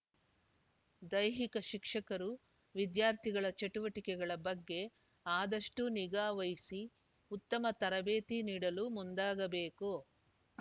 ದೈಹಿಕ ಶಿಕ್ಷಕರು ವಿದ್ಯಾರ್ಥಿಗಳ ಚಟುವಟಿಕೆಗಳ ಬಗ್ಗೆ ಆದಷ್ಟುನಿಗಾ ವಹಿಸಿ ಉತ್ತಮ ತರಬೇತಿ ನೀಡಲು ಮುಂದಾಗಬೇಕು